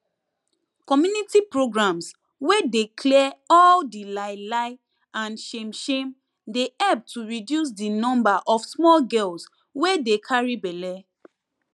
community programs wey dey clear all di lie lie and shame shame dey help to reduce di number of small girls wey dey carry belle